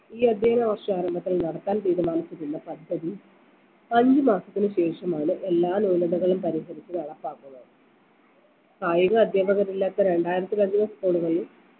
ഈ അധ്യയന വർഷാരംഭത്തിൽ നടത്താൻ തീരുമാനിച്ചിരുന്ന പദ്ധതി അഞ്ചു മാസത്തിന് ശേഷമാണ് എല്ലാ ന്യൂനതകളും പരിഹരിച്ച് നടപ്പാക്കുന്നത കായിക അധ്യാപകരില്ലാത്ത രണ്ടായിരത്തിലധികം school കളിൽ